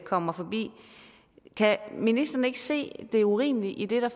kommer forbi kan ministeren ikke se det urimelige i det der